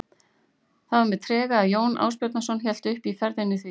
Það var með trega að Jón Ásbjarnarson hélt upp í ferðina því